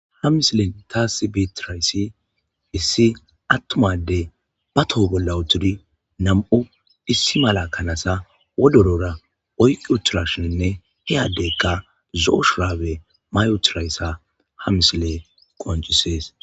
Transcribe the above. Ha misilen tas beetidayssi issi attuma addey ba toho bolla uttidi nam'u issi mala kanaza wodorora oyqi uttidashininne he addeyka zo'o shurabe mayi uttidaysa ha misiley qonccises.